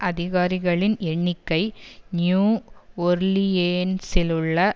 அதிகாரிகளின் எண்ணிக்கை நியூ ஒர்லியேன்சிலுள்ள